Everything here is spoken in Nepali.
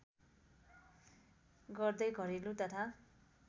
गर्दै घरेलु तथा